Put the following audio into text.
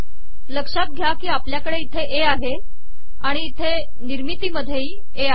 लकात घया की आपलयाकडे इथे ए आहे आिण इथे िनिमरतीमधयेही ए आहे